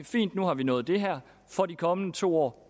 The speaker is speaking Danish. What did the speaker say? fint nu har vi nået det her for de kommende to år